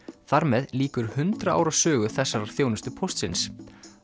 þar með lýkur hundrað ára sögu þessarar þjónustu Póstsins